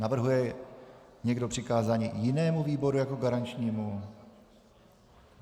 Navrhuje někdo přikázání jinému výboru jako garančnímu?